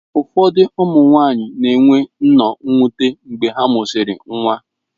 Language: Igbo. Ụfọdụ ụmụ nwanyị na-enwe nnọọ mwute mgbe ha mụsịrị nwa.